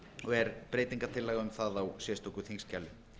er breytingartillaga um það á sérstöku þingskjali